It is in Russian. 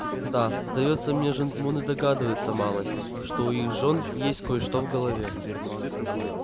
да сдаётся мне жентмуны догадываются малость что у их жён есть кой-что в голове